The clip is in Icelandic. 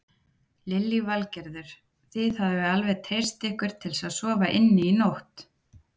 Lillý Valgerður: Þið hafið alveg treyst ykkur til að sofa inni í nótt?